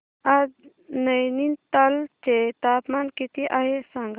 आज नैनीताल चे तापमान किती आहे सांगा